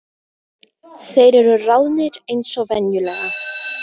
Þeir eru ráðnir eins og venjulega